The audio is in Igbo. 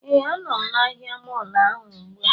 Ee, a nọ m na ahịa mọọlụ ahụ ugbu a